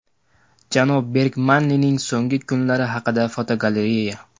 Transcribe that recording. Janob Bergmanning so‘nggi kunlari haqida fotogalereya.